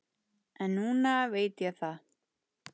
En núna veit ég það.